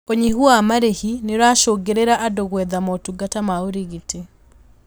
Ũnyihu wa marĩhi nĩũracũngĩrĩria andũ gwetha motungata ma ũrigiti